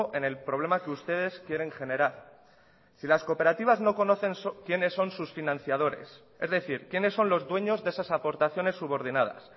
en el problema que ustedes quieren generar si las cooperativas no conocen quiénes son sus financiadores es decir quiénes son los dueños de esas aportaciones subordinadas